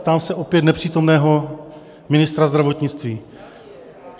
ptám se opět nepřítomného ministra zdravotnictví.